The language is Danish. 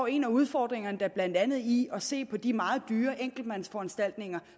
en af udfordringerne da blandt andet i at se på de meget dyre enkeltmandsforanstaltninger